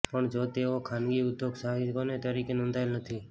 પણ જો તેઓ ખાનગી ઉદ્યોગ સાહસિકોને તરીકે નોંધાયેલ નથી